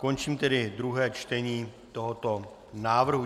Končím tedy druhé čtení tohoto návrhu.